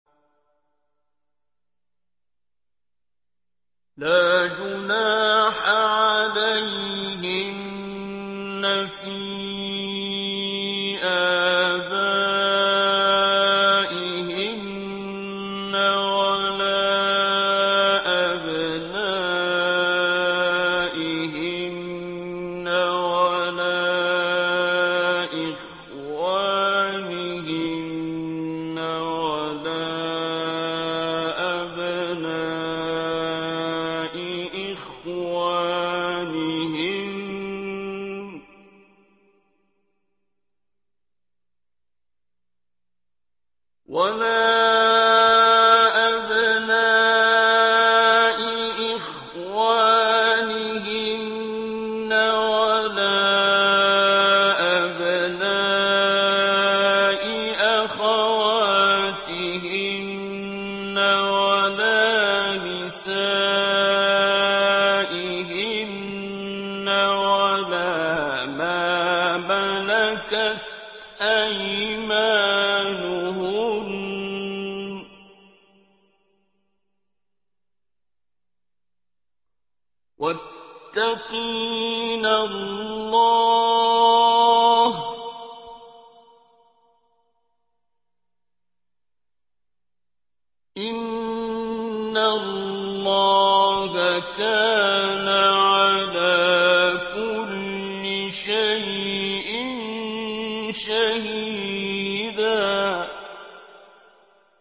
لَّا جُنَاحَ عَلَيْهِنَّ فِي آبَائِهِنَّ وَلَا أَبْنَائِهِنَّ وَلَا إِخْوَانِهِنَّ وَلَا أَبْنَاءِ إِخْوَانِهِنَّ وَلَا أَبْنَاءِ أَخَوَاتِهِنَّ وَلَا نِسَائِهِنَّ وَلَا مَا مَلَكَتْ أَيْمَانُهُنَّ ۗ وَاتَّقِينَ اللَّهَ ۚ إِنَّ اللَّهَ كَانَ عَلَىٰ كُلِّ شَيْءٍ شَهِيدًا